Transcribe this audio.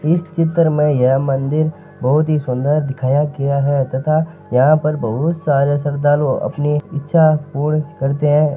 इस चित्र में यह मंदिर बहुत ही सुन्दर दिखाया गया है तथा यहाँ पर बहुत सारे सर्धालू अपनी इच्छा पूर्ण करते है।